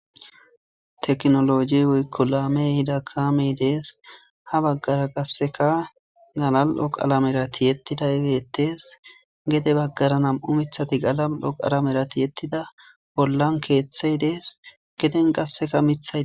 Teknoloji woykko laame hida kaame dees ha baggara qasseka galal'o qalamerati yettida ibettees gede baggara nam'u mithati galal'o qalamerati yettida bollan keeththey dees geden qasseka mithai